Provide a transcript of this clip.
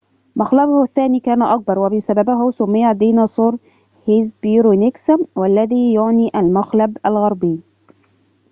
مخلبه الثاني كان أكبر وبسببه سُمّي الديناصور هيسبيرونيكس والذي يعني المخلب الغربي